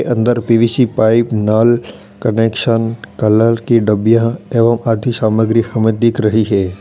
अंदर P V C pipe नल connection colour की डिबिया एवं आदि सामग्री हमें दिख रही है।